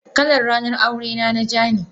Kalar ranar aure na ja ne.